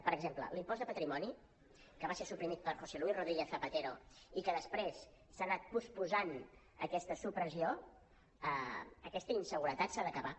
per exemple l’impost de patrimoni que va ser suprimit per josé luis rodríguez zapatero i que després s’ha anat posposant aquesta supressió aquesta inseguretat s’ha d’acabar